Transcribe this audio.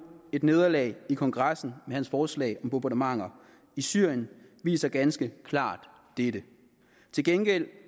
et nederlag i kongressen med hans forslag om bombardementer i syrien viser ganske klart dette til gengæld